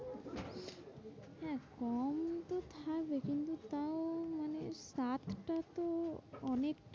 কম তো থাকে কিন্তু তাও মানে সাতটা তো অনেক